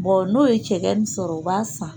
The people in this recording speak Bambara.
n'o ye cɛkɛnin sɔrɔ u b'a san